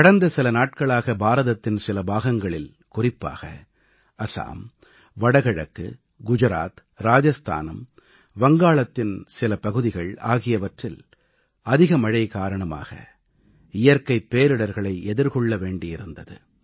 கடந்த சில நாட்களாக பாரதத்தின் சில பாகங்களில் குறிப்பாக அசாம் வட கிழக்கு குஜராத் ராஜஸ்தான் வங்காளத்தின் சில பகுதிகள் ஆகியவற்றில் அதிக மழை காரணமாக இயற்கைப் பேரிடர்களை எதிர்கொள்ள வேண்டியிருந்தது